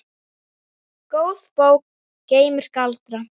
Góð bók geymir galdra.